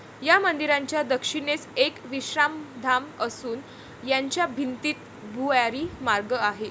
या मंदिराच्या दक्षिणेस एक विश्रामधाम असून याच्या भिंतीत भुयारी मार्ग आहे.